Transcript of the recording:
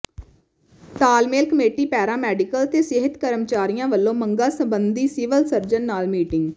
ਤਾਲਮੇਲ committee paramedical ਤੇ ਸਿਹਤ ਕਰਮਚਾਰੀਆਂ ਵਲੋਂ ਮੰਗਾਂ ਸਬੰਧੀ ਸਿਵਲ ਸਰਜਨ ਨਾਲ ਮੀਟਿੰਗ